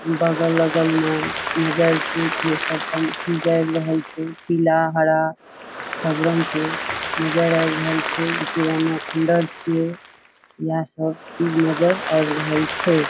बगल अगल में ये सब पंखी जाए रहल छे। पीला हरा सब रंग के नजर आए रहल छे। पुराना खंडहर छे। यहाँ सब चीज नजर आव रहल छे।